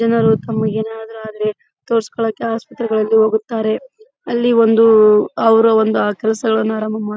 ಜನರು ತಮಗೆ ಏನಾದ್ರು ಆದ್ರೆ ತೋರಿಸ್ಕೊಳಕ್ಕೆ ಆಸ್ಪತ್ರೆಗಳಲ್ಲಿ ಹೋಗುತ್ತಾರೆ. ಅಲ್ಲಿ ಒಂದು ಅವ್ರ್ ಒಂದ್ ಆ ಕೆಲಸಗಳನ್ನ ಮಾಡುತ್ತಾರೆ.